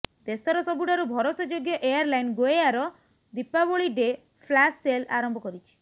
ଦେଶର ସବୁଠାରୁ ଭରସାଯୋଗ୍ୟ airline GoAir Deepavali day flash sale ଆରମ୍ଭ କରିଛି